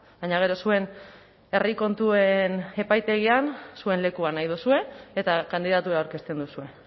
baina gero zuen herri kontuen epaitegian zuen lekua nahi duzue eta kandidatura aurkezten duzue